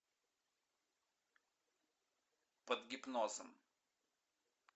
под гипнозом